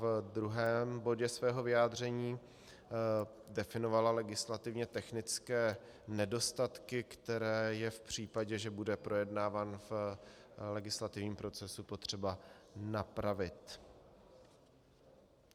V druhém bodě svého vyjádření definovala legislativně technické nedostatky, které je v případě, že bude projednáván v legislativním procesu, potřeba napravit.